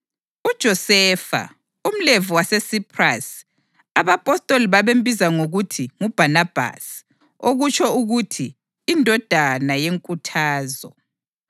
UJosefa, umLevi waseSiphrasi, abapostoli ababembiza ngokuthi nguBhanabhasi (okutsho ukuthi, iNdodana yeNkuthazo),